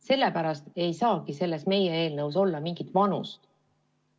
Sellepärast ei saagi meie eelnõus olla mingit vanust.